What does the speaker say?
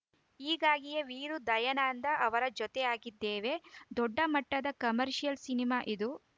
ಹೀಗಾಗಿಯೇ ವೀರು ದಯಾನಂದ ಅವರು ಜತೆಯಾಗಿದ್ದೇವೆ ದೊಡ್ಡ ಮಟ್ಟದ ಕಮರ್ಷಿಯಲ್‌ ಸಿನಿಮಾ ಇದು